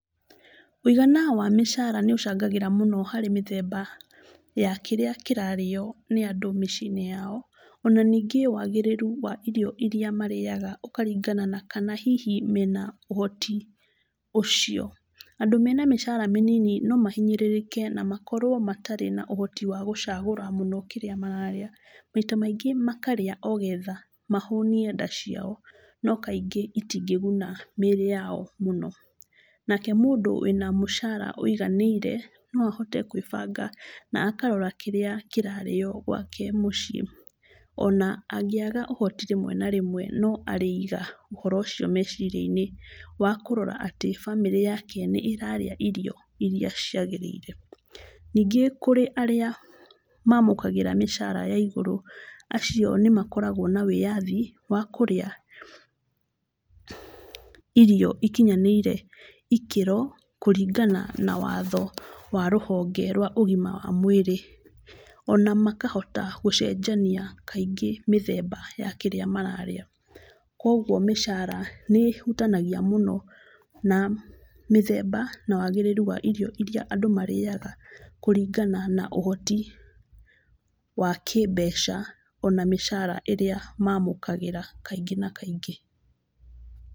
Wĩgana wa mĩcara nĩ ĩcangagĩra mũno harĩ mĩthemba ya kĩrĩa kĩrarĩyo nĩandũ mĩciĩ-inĩ yao, ona ningĩ wagĩrĩru wa irio iria marĩaga ũkaringana na kana hihi mena ũhoti ũcio, andũ mena mĩcara mĩnini no mahinyĩrĩrĩke na makorwo matarĩ na ũhoti wa gũcagũra mũno kĩrĩa mararĩa, maita maingĩ makarĩa ogetha mahũnie nda ciao, no kaingĩ itingĩguna mĩrĩ yao mũno, nake mũndũ wĩna mũcara wĩiganĩire, noahote gwĩbanga na akarora kĩrĩa kĩrarĩo gwake mũciĩ, ona angĩaga ũhoti rĩmwe na rĩmwe, no arĩiga ũhoro ũcio meciria-inĩ, wa kũrora atĩ bamĩrĩ yake nĩ ĩrarĩa irio iria ciagĩrĩire, ningĩ kũrĩ arĩa mamũkagĩra mĩcara yaigũrũ, acio nĩ makoragwo na wĩyathi wa kũrĩa irio ikinyanĩire ikĩro, kũringana na watho wa rũhonge rwa ũgima wa mwĩrĩ, ona makahota gũcenjania kaingĩ mĩthemba ya kĩrĩa mararĩa, koguo mĩcara nĩ ĩhutanagia mũno na mĩthemba, na wagĩrĩru wa irio iria andũ marĩaga, kũringana na ũhoti, wa kĩmbeca, ona mĩcara ĩrĩa mamũkagĩra kaingĩ na kaingĩ.